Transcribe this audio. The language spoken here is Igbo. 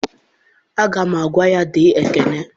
Aga m agwa ya, dee Ikenna!